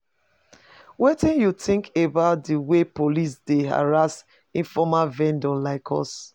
Wetin you think about di way police dey harass informal vendors like us?